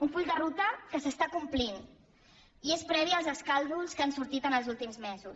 un full de ruta que s’està complint i és previ als escàndols que han sortit els últims mesos